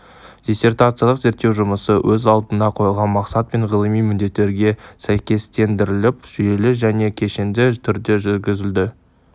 диссертациялық зерттеу жұмысы өз алдына қойылған мақсат пен ғылыми міндеттерге сәйкестендіріліп жүйелі және кешенді түрде жүргізілді